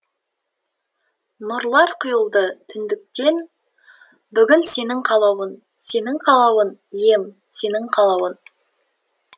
нұрлар құйылды түңдіктен бүгін сенің қалаулың сенің қалауың ием сенің қалауың